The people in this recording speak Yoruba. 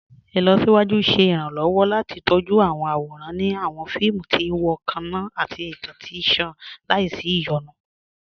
Ilọ̀síwájú ṣẹ̀ iranlọ́wọ́ láti tọjú awọn awóran ni awọn fíìmù tí n wọ kanna àti ìtàn tí nṣàn làísí iyonú.